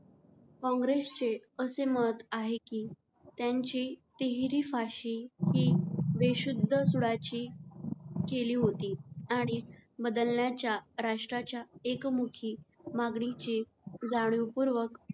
काँग्रेस चे असे मत आहे कि त्याची तिहेरी फाशी हि बेशुद्ध सुडाची केली होती. आणि बदलण्याच्या राष्ट्राच्या एकमुखी मागणीचे जाणीव पूर्वक